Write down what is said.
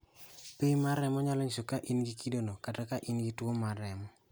Pim mar remo nyalo nyiso ka in gi kidono kata ni in gi tuwono mar remo .